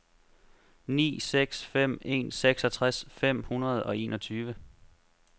ni seks fem en seksogtres fem hundrede og enogtyve